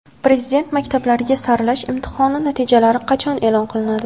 Prezident maktablariga saralash imtihoni natijalari qachon e’lon qilinadi?.